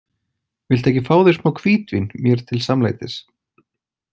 Viltu ekki fá þér smá hvítvín mér til samlætis?